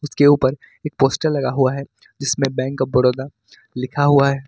के ऊपर एक पोस्टर लगा हुआ है जिसमें बैंक ऑफ बड़ौदा लिखा हुआ है।